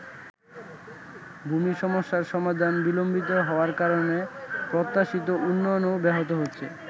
ভূমি সমস্যার সমাধান বিলম্বিত হওয়ার কারণে প্রত্যাশিত উন্নয়নও ব্যাহত হচ্ছে।